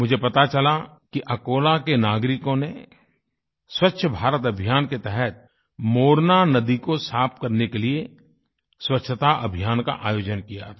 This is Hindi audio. मुझे पता चला कि अकोला के नागरिकों ने स्वच्छ भारत अभियान के तहत मोरना नदी को साफ़ करने के लिए स्वच्छता अभियान का आयोजन किया था